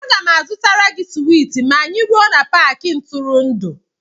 A ga m azụtara gị swiiti ma anyị ruo n'Paakị ntụrụndụ